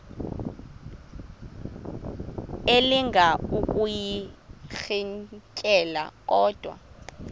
elinga ukuyirintyela kodwa